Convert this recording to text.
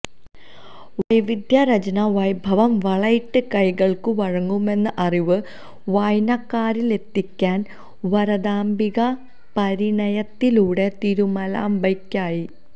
വൈവിധ്യരചനാവൈഭവം വളയിട്ട കൈകള്ക്കും വഴങ്ങുമെന്ന അറിവ് വായനക്കാരനിലേക്കെത്തിക്കാന് വരദാംബികാ പരിണയത്തിലൂടെ തിരുമലാംബയ്ക്കായി